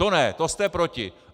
To ne, to jste proti!